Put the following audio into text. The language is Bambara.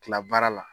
Tila baara la